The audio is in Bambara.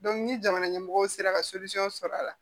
ni jamana ɲɛmɔgɔw sera ka sɔrɔ a la